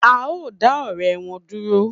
A o da ọrẹ wọn dúró